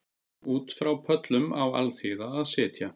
Út frá pöllum á alþýða að sitja